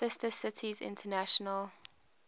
sister cities international